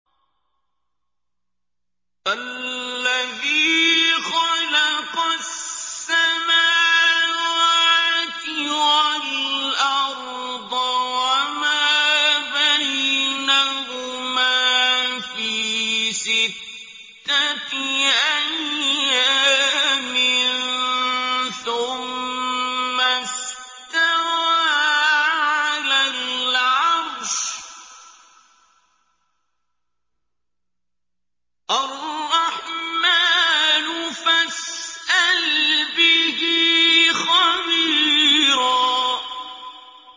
الَّذِي خَلَقَ السَّمَاوَاتِ وَالْأَرْضَ وَمَا بَيْنَهُمَا فِي سِتَّةِ أَيَّامٍ ثُمَّ اسْتَوَىٰ عَلَى الْعَرْشِ ۚ الرَّحْمَٰنُ فَاسْأَلْ بِهِ خَبِيرًا